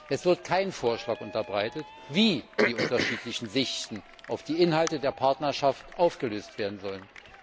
Es wird kein Vorschlag unterbreitet, wie die unterschiedlichen Sichten auf die Inhalte der Partnerschaft aufgelöst werden sollen.